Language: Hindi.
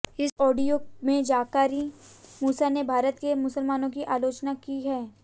इस ऑडियो में जाकिर मूसा ने भारत के मुसलमानों की आलोचना की है